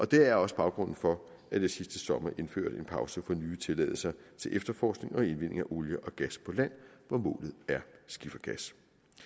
det er også baggrunden for at jeg sidste sommer indførte en pause for nye tilladelser til efterforskning og indvinding af olie og gas på land hvor målet er skifergas